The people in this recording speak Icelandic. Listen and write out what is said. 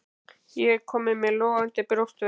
Ég er kominn með logandi brjóstverk.